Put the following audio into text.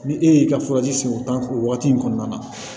Ni e y'i ka sigi o tan o wagati in kɔnɔna na